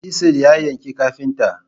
Chisel ya yanke kafinta.